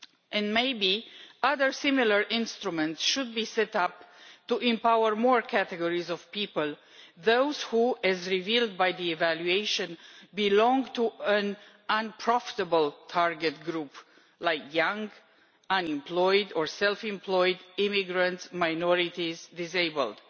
And maybe other similar instruments should be set up to empower more categories of people those who as revealed by the evaluation belong to an unprofitable target group like the young, unemployed or self employed, immigrant minorities and disabled.